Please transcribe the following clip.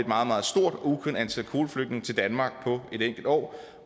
meget stort og ukendt antal kvoteflygtninge til danmark på et enkelt år